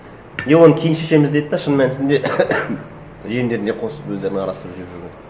не оны кейін шешеміз деді де шын мәнісінде жемдеріне қосып өздерінің арасында жеп жүрген